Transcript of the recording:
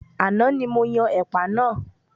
Àná ní mo yan ẹ̀pà náà.